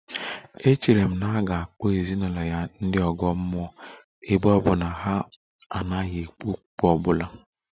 Echere m na a ga-akpọ ezinụlọ ya ndị ọgọ mmụọ ebe ọ bụ na ha anaghị ekpe okpukpe ọ bụla